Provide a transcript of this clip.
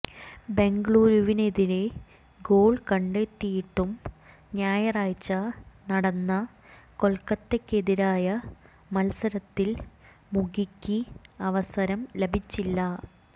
ബെംഗളൂരുവിനെതിരെ goal കണ്ടെത്തിയിട്ടും ഞായറാഴ്ച നടന്ന കൊൽക്കത്തക്കെതിരായ മത്സരത്തിൽ മുഖിക്ക് അവസരം ലഭിച്ചില്ല